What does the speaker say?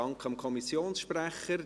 Dank dem Kommissionssprecher.